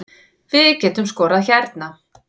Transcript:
Við getum skorað hérna